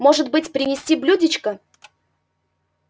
может быть принести блюдечко